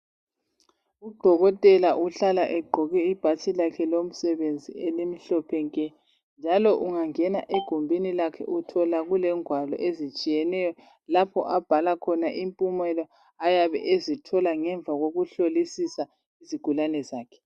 Udokotela uhlala egqoke ibhatshi lakhe lomsebenzi elimhlophe nke njalo ungangena egumbini lakhe uthola kulengwalo ezitshiyeneyo lapho abhala khona impumela ayabe ezithola ngemva kokuhlolisisa izigulane zakhe.